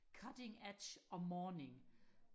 cutting edge og morning